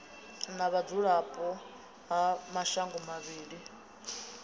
na vhudzulapo ha mashango mavhili